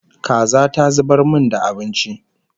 Kaza ta zubar min da abinci